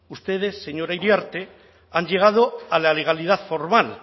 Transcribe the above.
ustedes señora iriarte han llegado a la legalidad formal